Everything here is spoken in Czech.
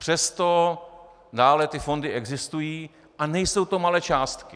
Přesto dále ty fondy existují a nejsou to malé částky.